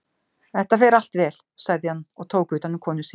Þetta fer allt vel, sagði hann og tók utanum konu sína.